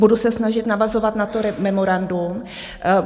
Budu se snažit navazovat na to memorandum.